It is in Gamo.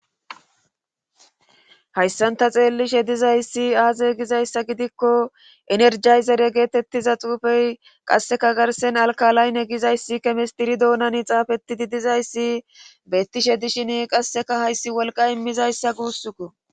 Hayssanta xeelishe dizayssi aaze gizayssa gidikko energayzere geetettiza xuufey qasseka garsen alkalaaynne gizayssi kemistiri doonani xaafetidi dizayssi bettishe dishin qasseka hayssi wolqa immizayssa guussukko